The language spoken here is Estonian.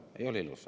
Ei ole ilus.